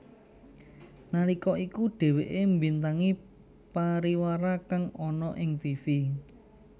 Nalika iku dheweké mbintangi pariwara kang ana ing tivi